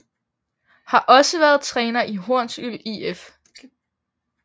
Har også været træner i Hornsyld IF